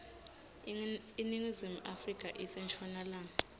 iningizimu afrika ise nshonalanga